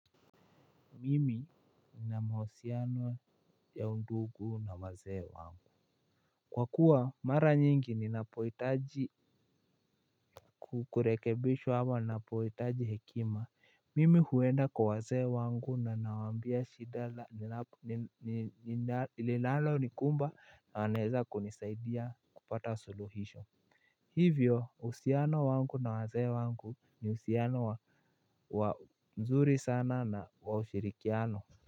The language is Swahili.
Mimi nina mahusiano ya undugu na wazee wangu. Kwakua mara nyingi ninapohitaji kukurekebishwa ama ninapohitaji hekima Mimi huenda kwa wazee wangu na nawambia shida zangu linalo nikumba anaeza kunisaidia kupata suluhisho. Hivyo uhusiano wangu na wazee wangu ni uhusiano wa mzuri sana na wa ushirikiano.